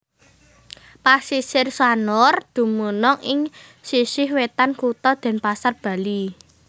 Pasisir Sanur dumunung ing sisih wetan kutha Denpasar Bali